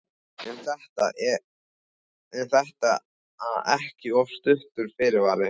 En er þetta ekki of stuttur fyrirvari?